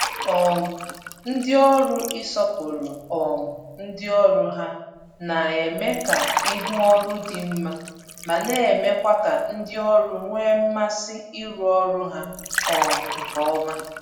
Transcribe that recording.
um Ndị ụlọ ọrụ ịsọpụrụ um ndị ọrụ ha na-eme ka ihu ọrụ dị mma ma na-emekwa ka ndị ọrụ nwee mmasị ịrụ ọrụ ha um nke ọma